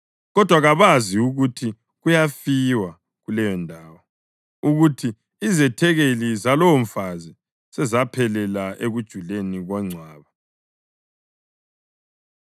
Kodwa kabazi ukuthi kuyafiwa, kuleyondawo, ukuthi izethekeli zalowomfazi sezaphelela ekujuleni kwengcwaba.